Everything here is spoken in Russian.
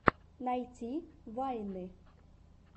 найти вайны